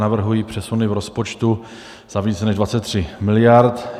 Navrhuji přesuny v rozpočtu za více než 23 mld.